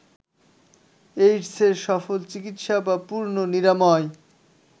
এইডসের সফল চিকিৎসা বা পূর্ণ নিরাময়